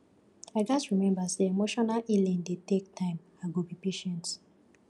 i gats remember say emotional healing dey take time i go be patient